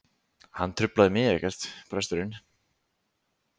Hann truflaði mig ekkert, presturinn.